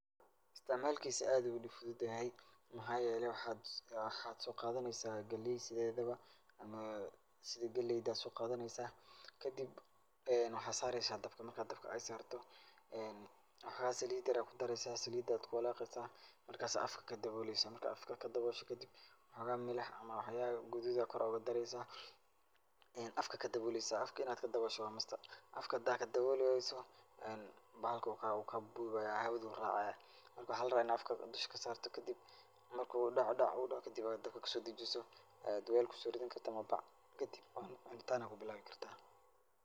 Istacmaalkiisa aad ayuu u dib fududyahay maxaa yeelay waxaad waxaad soo qaadanaysaa gelay sideedaba ama sida gelayda soo qaadanaysa. Kadib waxaad saaraysa dabka ,marka dabka aad saarto waxaa salit yer ayaa ku daraysa. Saliida ayaad ku walaaqaysaa. Markaas ayaa afka ka dhoboolaysa. Marka aad afka ka dhaboosho kadib xooga milax ama wax yaale guduud ayaa kor ugu daraysa afka ka daboolaysaa. Afka in aad ka daboosho waa must. Afka hadaa ka dabooli wayso bahalka wuu kaa wuu kaa buubaya, hawaduu raacayaa. Marka waxaa la rabaa in afka dusha ka saarto kadib marka uu dhac-dhac uu dhaho kadib dhabka ka soo dejiso aad weel ku soo ridinkarto ama bac kadib cun, cunitaan ayaa ku bilaabi karta.